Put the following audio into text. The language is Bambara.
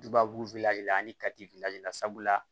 Dubabu la ani katifiyɛ la sabula